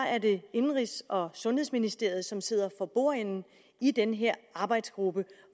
er det indenrigs og sundhedsministeriet som sidder for bordenden i den her arbejdsgruppe